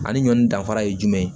Ani ɲɔni danfara ye jumɛn ye